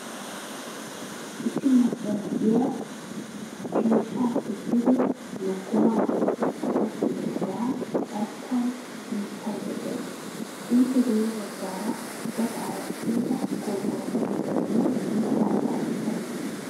Issi macca na'iyaa keshiyappe dugge lokkoma qoxxidoga carkkuwan punisayda de'awusu. Ippe guye baggaara gaxare ceega qorqoro keettaynne mitta zaafekka de'ees.